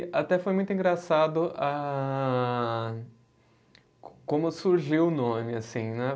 E até foi muito engraçado a co como surgiu o nome, assim, né?